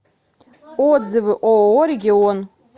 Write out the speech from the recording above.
отзывы ооо регион